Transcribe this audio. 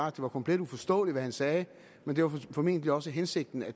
at det var komplet uforståeligt hvad han sagde men det var formentlig også hensigten at